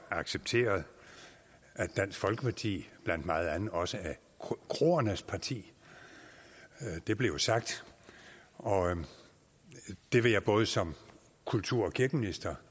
accepteret at dansk folkeparti blandt meget andet også er kroernes parti det blev jo sagt og det vil jeg både som kulturminister